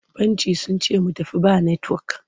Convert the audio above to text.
Bankin sun ce mu tafi ba netiwok.